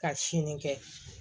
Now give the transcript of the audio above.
Ka sini kɛ